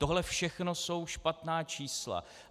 Tohle všechno jsou špatná čísla.